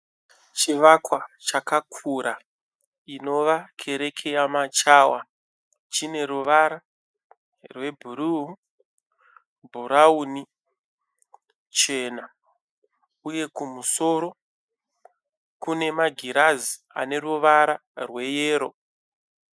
Chivakwa chakura inova kereke yeMachawa chine ruvara rwebhuru, bhurauni chena uye kumusoro kune magirazi aneruvara rweyero.